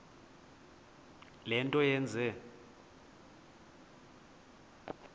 le nto yenze